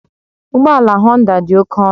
Ụgbọ ala Honda dị oke ọnụ